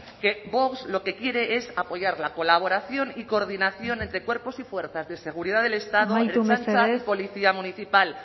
que vox lo que quiere es apoyar la colaboración y coordinación entre cuerpos y fuerzas de seguridad del estado ertzaintza y policía municipal